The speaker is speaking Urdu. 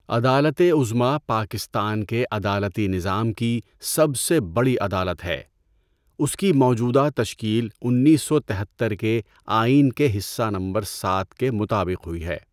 عدالت عظمیٰ پاکستان کے عدالتی نظام کی سب سے بڑی عدالت ہے. اس کی موجودہ تشکیل انیس سو تہتر کے آئین کے حصہ نمبر سات کے مطابق ہوئی ہے۔